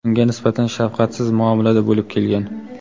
unga nisbatan shafqatsiz muomalada bo‘lib kelgan.